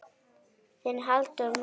Þinn Halldór Már.